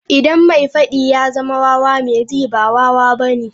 Idan mai faddi ya zama wawa, mai ji ba wawa bane